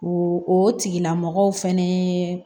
O o tigilamɔgɔw fɛnɛ